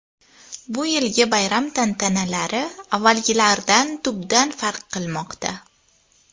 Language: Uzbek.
Bu yilgi bayram tantanalari avvalgilardan tubdan farq qilmoqda.